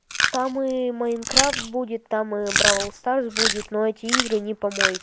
там и майнкрафт будет там и браул старс будет но эти игры не помои